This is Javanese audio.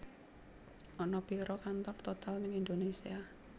Ana piro kantor Total nang Indonesia